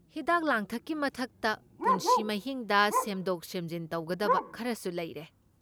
ꯍꯤꯗꯥꯛ ꯂꯥꯡꯊꯛꯀꯤ ꯃꯊꯛꯇ, ꯄꯨꯟꯁꯤ ꯃꯍꯤꯡꯗ ꯁꯦꯝꯗꯣꯛ ꯁꯦꯝꯖꯤꯟ ꯇꯧꯒꯗꯕ ꯈꯔꯁꯨ ꯂꯩꯔꯦ꯫